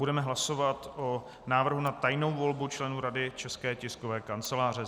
Budeme hlasovat o návrhu na tajnou volbu členů Rady České tiskové kanceláře.